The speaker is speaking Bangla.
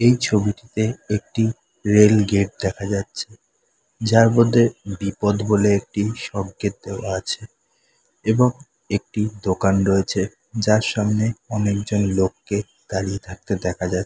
এই ছবিটিতে একটি রেল গেট দেখা যাচ্ছে যার মধ্যে বিপদ বলে একটি সংকেত দেওয়া আছে এবং একটি দোকান রয়েছে যার সামনে অনেকজন লোককে দাঁড়িয়ে থাকতে দেখা যায়।